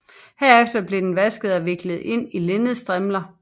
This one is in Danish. Derefter blev den vasket og viklet ind i linnedstrimler